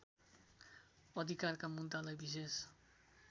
अधिकारका मुद्दालाई विशेष